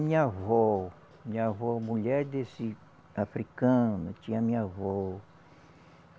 Minha avó, minha avó mulher desse africano, tinha minha avó.